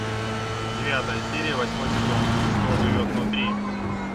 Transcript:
девятая серия восьмой сезон кто живет внутри